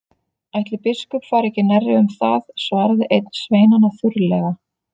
Ætli biskup fari ekki nærri um það, svaraði einn sveinanna þurrlega.